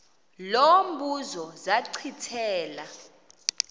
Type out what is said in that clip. lo mbuzo zachithela